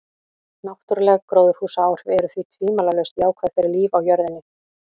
Náttúruleg gróðurhúsaáhrif eru því tvímælalaust jákvæð fyrir líf á jörðinni.